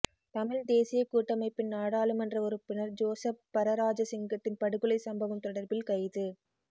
மிழ்த் தேசியக் கூட்டமைப்பின் நாடாளுமன்ற உறுப்பினர் ஜோசப் பரராஜசிங்கத்தின் படுகொலைச் சம்பவம் தொடர்பில் கைது